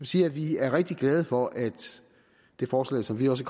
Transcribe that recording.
sige at vi er rigtig glade for at det forslag som vi også